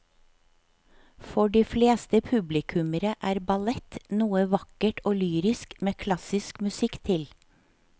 For de fleste publikummere er ballett noe vakkert og lyrisk med klassisk musikk til.